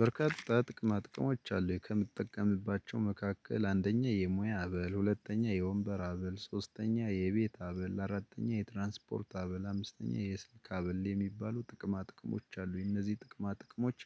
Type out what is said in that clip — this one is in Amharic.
በርካታ ጥቅማ ጥቅሞች አሉ ከምትጠቀምባቸው መካከል አንደኛ የሙያ አበል ሁለተኛ የወንበር አበል ሶስተኛ የቤት አበል አራተኛ የትራንስፖርት አበል አምስተኛ የስልክ አበል የሚባሉ ጥቅማ ጥቅሞች አሉኝ። እነዚህ ጥቅማ ጥቅሞች